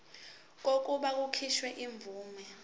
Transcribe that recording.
kokuba kukhishwe imvume